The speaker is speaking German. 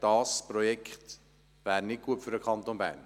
Die Verschiebung dieses Projekts wäre nicht gut für den Kanton Bern.